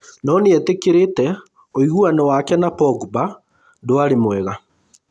No nĩetĩkĩrĩte ũiguano wake na Pogba ndwarĩ mwega